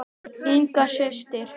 Inga systir.